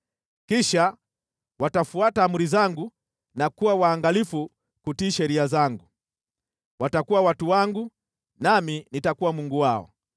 Kisha watafuata amri zangu na kuwa waangalifu kutii sheria zangu. Watakuwa watu wangu nami nitakuwa Mungu wao.